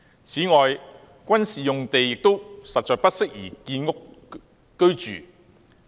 此外，軍事用地實在不宜建屋。